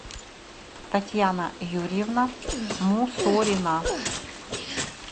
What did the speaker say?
татьяна юрьевна мусорина